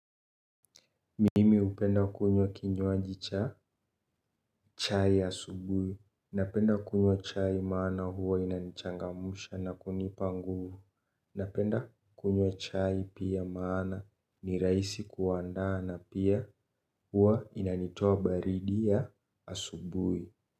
Mimi upenda kunywa kinywaji cha chai asubui. Napenda kunywa chai maana huwa inanchangamusha na kunipa nguvu. Napenda kunywa chai maana ni rahisi kuandaa na pia huwa inanitoa baridi ya asubui.